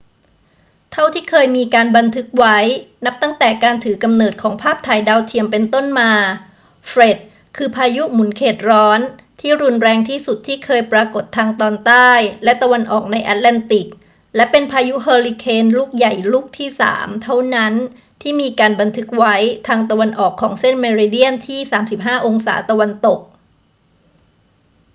เท่าที่เคยมีการบันทึกไว้ นับตั้งแต่การถือกำเนิดของภาพถ่ายดาวเทียมเป็นต้นมา เฟรดคือพายุหมุนเขตร้อนที่รุนแรงที่สุดที่เคยปรากฏทางตอนใต้และตะวันออกในแอตแลนติก และเป็นพายุเฮอริเคนลูกใหญ่ลูกที่สามเท่านั้นที่มีการบันทึกไว้ทางตะวันออกของเส้นเมริเดียนที่ 35° ตะวันตก